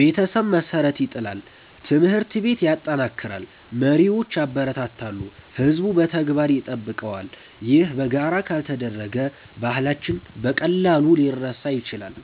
ቤተሰብ መሠረት ይጥላል፣ ትምህርት ቤት ያጠናክራል፣ መሪዎች ያበረታታሉ፣ ሕዝቡም በተግባር ይጠብቀዋል። ይህ በጋራ ካልተደረገ ባህላችን በቀላሉ ሊረሳ ይችላል።